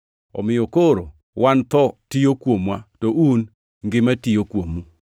Omiyo koro wan tho tiyo kuomwa, to un, ngima tiyo kuomu.